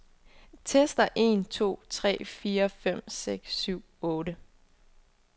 Tester en to tre fire fem seks syv otte.